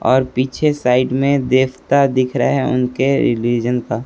और पीछे साइड में देवता दिख रहे उनके रिलीजन का।